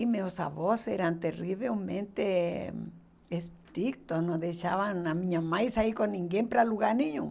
E meus avós eram terrivelmente estritos, não deixavam a minha mãe sair com ninguém para lugar nenhum.